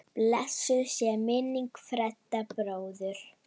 Blessuð sé minning Fredda bróður.